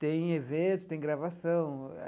Tem eventos, tem gravação.